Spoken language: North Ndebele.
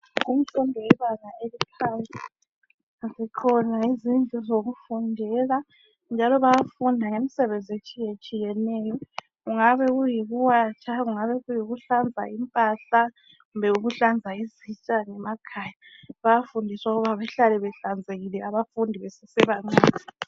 Imfundo yebanga eliphansi. Zikhona izindlu zokufundela njalo bayafunda ngemisebenzi etshiyetshiyeneyo. Kungabe kuyikuwatsha, kungabe kuyihlanza impahla kumbe ukuhlanza izitsha ngemakhaya. Bayafundiswa ukuba behlale behlanzekile abafundi besese bancane.